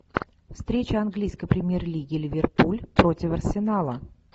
встреча английской премьер лиги ливерпуль против арсенала